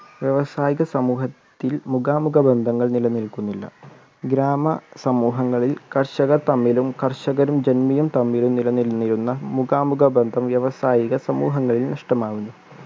വ്യവസായിക സമൂഹത്തിൽ മുഖാമുഖ ബന്ധങ്ങൾ നിലനിൽക്കുന്നില്ല ഗ്രാമ സമൂഹങ്ങളിൽ കർഷകർ തമ്മിലും കർഷകരും ജന്മിയും തമ്മിലും നിലനിന്നിരുന്ന മുഖാമുഖ ബന്ധം വ്യവസായിക സമൂഹങ്ങളിൽ നഷ്ടമാവുന്നു